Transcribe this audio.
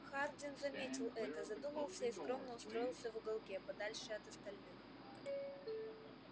хардин заметил это задумался и скромно устроился в уголке подальше от остальных